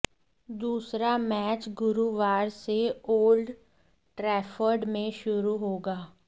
दूसरा मैच गुरूवार से ओल्ड ट्रैफर्ड में शुरू होगा